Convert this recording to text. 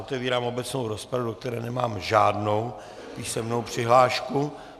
Otevírám obecnou rozpravu, do které nemám žádnou písemnou přihlášku.